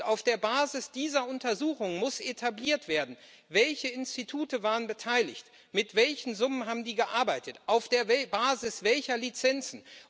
Auf der Basis dieser Untersuchung muss festgestellt werden Welche Institute waren beteiligt, mit welchen Summen haben die gearbeitet, auf der Basis welcher Lizenzen?